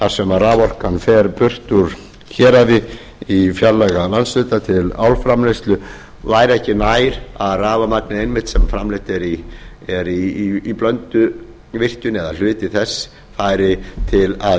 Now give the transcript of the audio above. þar sem raforkan fer burt úr héraði í fjarlæga landshluta til álframleiðslu væri ekki nær að rafmagnið einmitt sem framleitt er í blönduvirkjun eða hluti þess færi til að